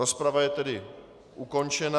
Rozprava je tedy ukončena.